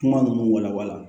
Kuma ninnu walawala